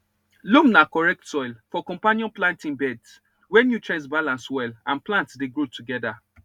loam na correct soil for companion planting beds where nutrients balance well and plants dey grow together